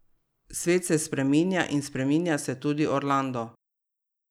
Svet se spreminja in spreminja se tudi Orlando.